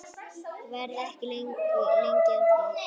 Verð ekki lengi að því.